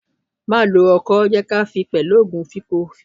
Má lo ọkọ́, jẹ́ kí a fin ni pẹ̀lú òògun ìfínko!